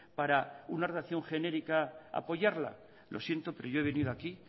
para una redacción genérica apoyarla lo siento pero yo he venido aquí